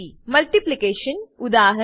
Multiplication multiplication ઉદા